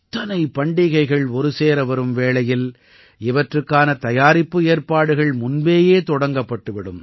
இத்தனை பண்டிகைகள் ஒருசேர வரும் வேளையில் இவற்றுக்கான தயாரிப்பு ஏற்பாடுகள் முன்பேயே தொடங்கப்பட்டு விடும்